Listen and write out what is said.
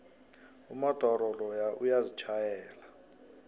umodoro loya uyazitjhayela